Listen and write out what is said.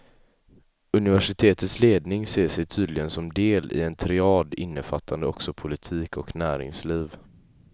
Universitetets ledning ser sig tydligen som del i en triad innefattande också politik och näringsliv.